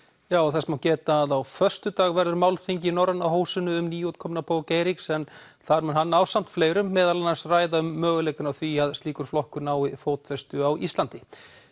þess má geta að á föstudag verður málþing í Norræna húsinu um nýútkomna bók Eiríks en þar mun hann ásamt fleirum meðal annars ræða um möguleikana á því að slíkur flokkur nái fótfestu á Íslandi